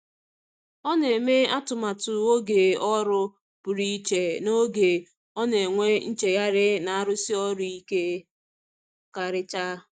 Ọ na-eme atụmatụ oge ọrụ pụrụ iche n’oge ọ na-enwe nchegharị na arụsi ọrụ ike karịcha.